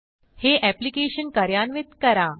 हे एप्लिकेशन कार्यान्वित करा